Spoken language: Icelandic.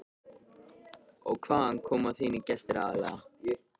Magnús Hlynur: Og hvaðan koma þínir gestir aðallega?